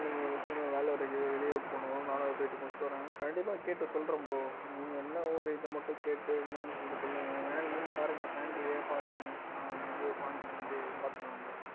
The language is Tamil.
எனக்கு ஒரு சின்ன ஒரு வேலையா இருக்கு வெளியே போகணும் நானும் அத போய் முடிச்சுட்டு வரேன். கண்டிப்பா கேட்டு சொல்றேன் bro. நீங்க எந்த ஊரு இது மட்டும் கேட்டு என்னன்னு சொல்லிட்டு சொல்லுங்க van கீனு பாருங்க பாண்டியிலேயே பாருங்க நான் அங்க வந்து பாண்டிக்கு வந்து பாத்துக்கலாம் bro